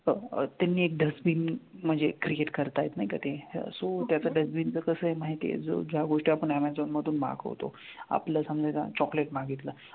अह त्यांनी एक dustbin म्हणजे create करतायत नाही का ते so त्याचं dustbin जर कसं आहे माहिती आहे जो ज्या गोष्टी आपण ऍमेझॉन मधून मागवतो, आपलं समजा एक chocolate मागितलं.